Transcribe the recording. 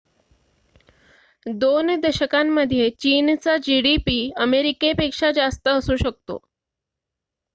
२ दशकांमध्ये चीनचा gdp अमेरिकेपेक्षा जास्त असू शकतो